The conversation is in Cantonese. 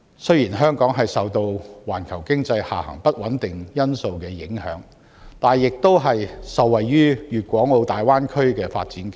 雖然香港受到環球經濟下行的不穩定因素影響，但亦受惠於粵港澳大灣區的發展機遇。